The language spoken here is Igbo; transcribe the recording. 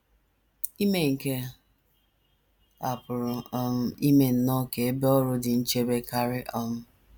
Ime nke a pụrụ um ime nnọọ ka ebe ọrụ dị nchebe karị um.